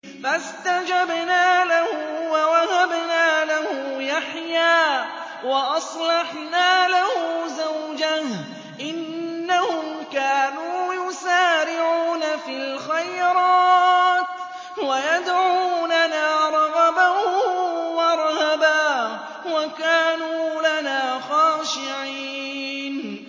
فَاسْتَجَبْنَا لَهُ وَوَهَبْنَا لَهُ يَحْيَىٰ وَأَصْلَحْنَا لَهُ زَوْجَهُ ۚ إِنَّهُمْ كَانُوا يُسَارِعُونَ فِي الْخَيْرَاتِ وَيَدْعُونَنَا رَغَبًا وَرَهَبًا ۖ وَكَانُوا لَنَا خَاشِعِينَ